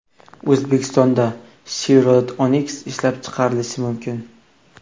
O‘zbekistonda Chevrolet Onix ishlab chiqarilishi mumkin.